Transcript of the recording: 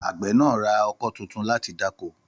Àgbẹ̀ náà ra oko tuntun láti dáko